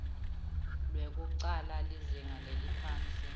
lwekucala lizinga leliphansi